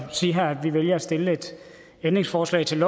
sige her at vi vælger at stille et ændringsforslag til